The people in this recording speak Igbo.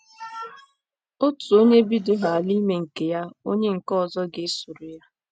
Otu onye bidohaala ime nke ya, onye nke ọzọ ga - esoro ya.